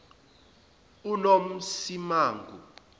unomsimangu